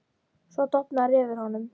Svo dofnar yfir honum.